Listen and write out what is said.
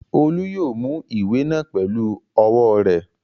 Olú yóò mú ìwé náà pẹlú ọwọ́ rẹ̀.